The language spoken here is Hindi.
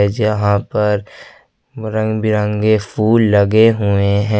जहां पर रंग बिरंगे फूल लगे हुए हैं।